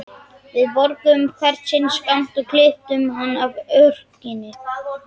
Við borguðum hvert sinn skammt og klipptum hann af örkinni.